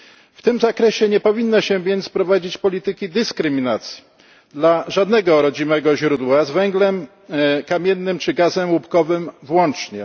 W tym zakresie nie powinno się więc prowadzić polityki dyskryminacji żadnego rodzimego źródła, z węglem kamiennym czy gazem łupkowym włącznie.